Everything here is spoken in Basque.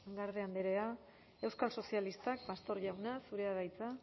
garde andrea euskal sozialistak pastor jauna zurea da hitza